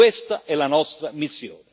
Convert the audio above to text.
Questa è la nostra missione.